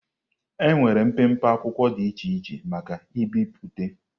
Enwere mpempe akwụkwọ dị iche iche maka ibipụta.